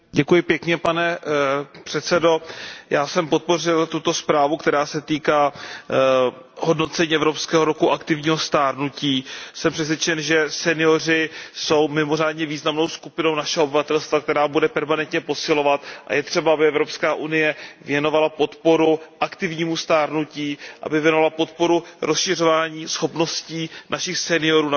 Pane předsedající, já jsem podpořil tuto zprávu, která se týká hodnocení Evropského roku aktivního stárnutí. Jsem přesvědčen, že senioři jsou mimořádně významnou skupinou našeho obyvatelstva, která bude permanentně posilovat, a je třeba, aby Evropská unie věnovala podporu aktivnímu stárnutí, aby věnovala podporu rozšiřování schopností našich seniorů, např.